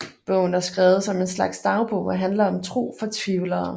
Bogen er skrevet som en slags dagbog og handler om tro for tvivlere